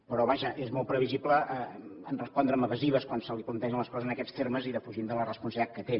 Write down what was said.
però vaja és molt previsible en el fet de respondre amb evasives quan se li plantegen les coses en aquests termes i defugint de la responsabilitat que té